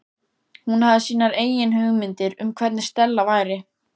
Hún hafði sínar eigin hugmyndir um hvernig Stella væri.